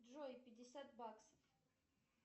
джой пятьдесят баксов